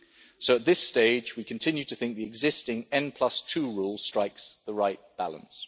So at this stage, we continue to think the existing n2 rule strikes the right balance.